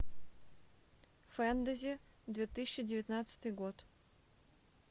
фэнтези две тысячи девятнадцатый год